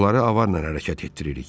Onları avarla hərəkət etdiririk.